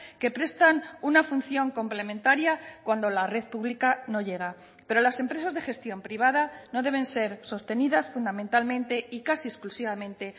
que prestan una función complementaria cuando la red pública no llega pero las empresas de gestión privada no deben ser sostenidas fundamentalmente y casi exclusivamente